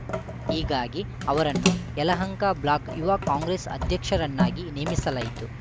ಹೀಗಾಗಿ ಅವರನ್ನು ಯಲಹಂಕ ಬ್ಲಾಕ್‌ ಯುವ ಕಾಂಗ್ರೆಸ್‌ ಅಧ್ಯಕ್ಷರನ್ನಾಗಿ ನೇಮಿಸಲಾಗಿತ್ತು